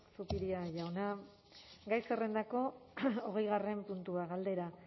zupiria jauna gai zerrendako hogeigarren puntua galdera